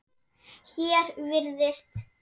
Hér virðist